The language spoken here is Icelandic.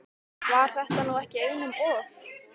Var þetta nú ekki einum of?